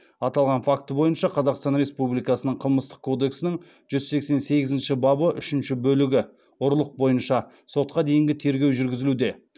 аталған факті бойынша қазақстан республикасының қылмыстық кодексінің жүз сексен сегізінші бабы үшінші бөлігі бойынша сотқа дейінгі тергеу жүргізілуде